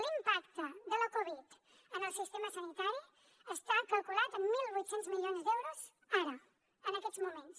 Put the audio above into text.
l’impacte de la covid dinou en el sistema sanitari està calculat en mil vuit cents milions d’euros ara en aquests moments